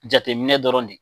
Jateminɛ dɔrɔn de ye